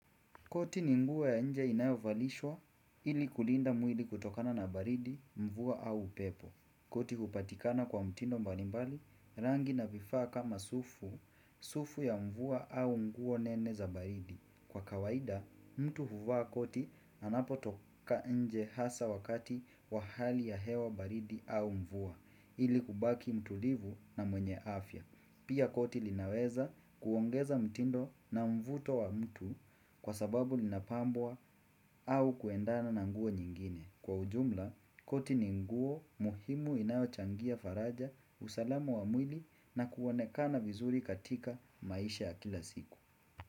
Koti ni nguo ya nje inayovalishwa, ili kulinda mwili kutokana na baridi, mvua au upepo. Koti hupatikana kwa mtindo mbalimbali, rangi na vifaa kama sufu, sufu ya mvua au nguo nene za baridi. Kwa kawaida, mtu huvaa koti anapo toka nje hasa wakati wa hali ya hewa baridi au mvua, ili kubaki mtulivu na mwenye afya. Pia koti linaweza kuongeza mtindo na mvuto wa mtu kwa sababu linapambwa au kuendana na nguo nyingine. Kwa ujumla, koti ni nguo muhimu inayo changia faraja usalama wa mwili na kuonekana vizuri katika maisha ya kila siku.